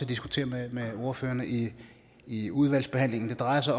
diskutere med ordførerne i i udvalgsbehandlingen det drejer sig